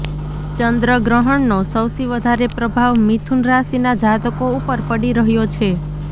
ચંદ્રગ્રહણ નો સૌથી વધારે પ્રભાવ મિથુન રાશિના જાતકો ઉપર પડી રહ્યો છે